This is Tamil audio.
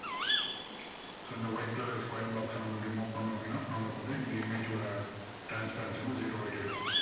so இந்த white colour square box அ நம்ம இப்படி move பண்ணோம் அப்படின்னா நமக்கு வந்து இந்த image ஓட transparency வந்து zero ஆயிட்டே இருக்கும்.